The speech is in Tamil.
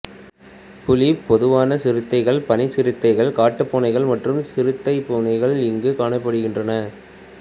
புலி பொதுவான சிறுத்தைகள் பனி சிறுத்தைகள் காட்டுப் பூனைகள் மற்றும் சிறுத்தை பூனைகள் இங்கு காணப்படுகின்றன